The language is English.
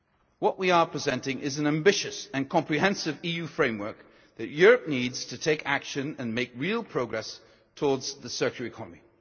What we are presenting is an ambitious and comprehensive EU framework that Europe needs to take action and make real progress towards the circular economy.